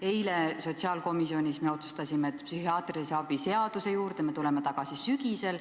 Eile sotsiaalkomisjonis otsustasime, et psühhiaatrilise abi seaduse juurde tuleme tagasi sügisel.